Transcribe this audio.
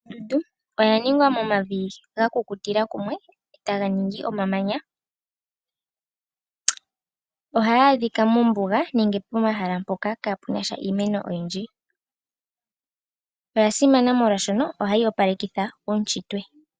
Ondundu oya ningwa momavi ga kukutila kumwe , taga ningi omamanya. ohayi adhika mombuga nenge po mahala mpoka kapu nasha iimeno oyindji. Oya simana molwashono ohayi opalekitha uuntshitwe.